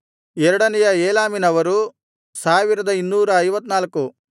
ಎರಡನೆಯ ಏಲಾಮಿನವರು 1254